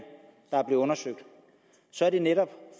er blevet undersøgt og så er det netop